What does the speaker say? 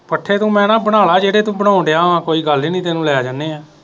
ਪੱਠੇ ਤੂੰ ਮੈਂ ਨਾ ਬਣਾਲਾ ਜੇਹੜੇ ਤੂੰ ਬਣਾਉਣ ਡੇਆ ਵਾ ਕੋਈ ਗੱਲ ਹੀ ਨੀ ਤੈਨੂੰ ਲੈ ਜਾਨੇ ਆ